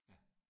Ja